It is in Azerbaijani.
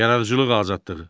Yaradıcılıq azadlığı.